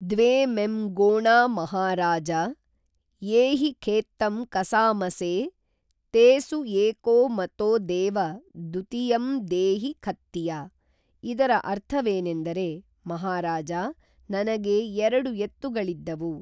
ದ್ವೇ ಮೆಂ ಗೋಣಾ ಮಹಾರಾಜ ಯೇ ಹಿ ಖೇತ್ತಂ ಕಸಾಮಸೇ ತೇ ಸು ಏಕೋ ಮತೋ ದೇವ ದುತಿಯಂ ದೇಹಿ ಖತ್ತಿಯ ಇದರ ಅರ್ಥವೇನೆಂದರೆ ಮಹಾರಾಜಾ ನನಗೇ ಎರಡು ಎತ್ತುಗಳಿದ್ದುವು